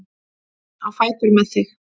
Á fætur með þig!